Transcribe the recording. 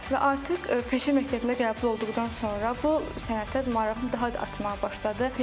Və artıq peşə məktəbində qəbul olduqdan sonra bu sənətə marağım daha da artmağa başladı.